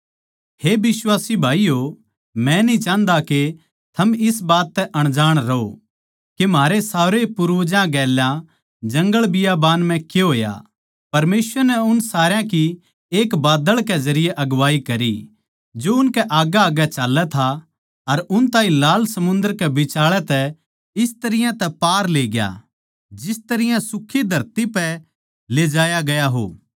हे बिश्वासी भाईयो मै न्ही चाहन्दा के थम इस बात तै अनजाण रहो के म्हारे सारे पूर्वजां कै गैल जंगलबियाबान म्ह के होया परमेसवर नै उन सारया की एक बाद्दळ कै जरिये अगुवाई करी जो उनकै आग्गैआग्गै चाल्लै था अर उन ताहीं लाल समुन्दर कै बिचाळै तै इस तरियां तै पार लेग्या जिस तरियां सुखी धरती पै ले जाया गया हो